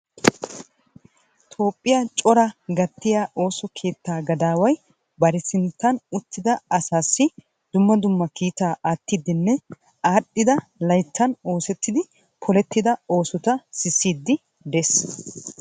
Toophiyaa cora gattiyaa ooso keettaa gadaway bari sinttan uttida asassi dumma dumma kiittaa aattiidinne aadhdhida layttan oosettidi polettida oosota sissiidi de'ees.